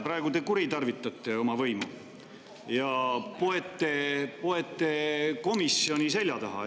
Praegu te kuritarvitate oma võimu ja poete komisjoni selja taha.